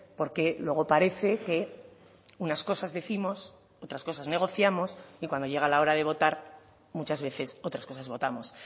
porque luego parece que unas cosas décimos otras cosas negociamos y cuando llega la hora de votar muchas veces otras cosas votamos